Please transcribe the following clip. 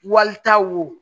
Walita wo